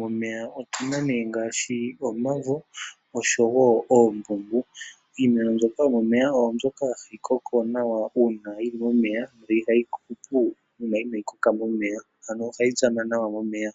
momeya otuna nee ngaashi omavo osho wo oombumbu. Iimeno mbyoka yomomeya oyo mbyoka hayi koko nawa uuna yili momeya ihayi hupu uuna inaayikoka momeya ano ohayi tsama nawa momeya.